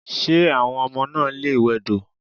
Ṣé àwọn ọmọ náà lè wẹdò?